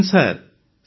Jai Hind sir